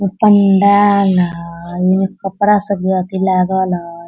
उ पंडाल हई एजा कपड़ा सब लागल हई।